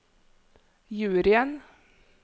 juryen